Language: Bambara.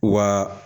Wa